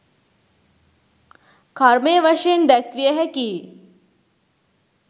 කර්මය වශයෙන් දැක්විය හැකි යි.